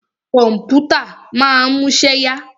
Kọ̀mpútà ma ń múṣẹ́ yá.